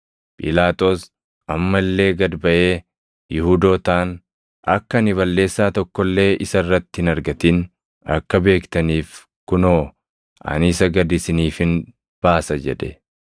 Phiilaaxoos amma illee gad baʼee Yihuudootaan, “Akka ani balleessaa tokko illee isa irratti hin argatin akka beektaniif kunoo ani isa gad isiniifin baasa” jedhe.